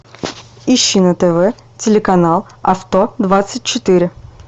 ищи на тв телеканал авто двадцать четыре